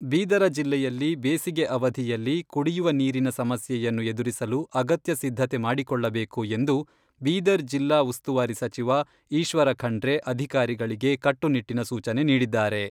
ಬೀದರ ಜಿಲ್ಲೆಯಲ್ಲಿ ಬೇಸಿಗೆ ಅವಧಿಯಲ್ಲಿ ಕುಡಿಯುವ ನೀರಿನ ಸಮಸ್ಯೆಯನ್ನು ಎದುರಿಸಲು ಅಗತ್ಯ ಸಿದ್ಧತೆ ಮಾಡಿಕೊಳ್ಳಬೇಕು ಎಂದು ಬೀದರ್ ಜಿಲ್ಲಾ ಉಸ್ತುವಾರಿ ಸಚಿವ ಈಶ್ವರ ಖಂಡ್ರೆ ಅಧಿಕಾರಿಗಳಿಗೆ ಕಟ್ಟುನಿಟ್ಟಿನ ಸೂಚನೆ ನೀಡಿದ್ದಾರೆ.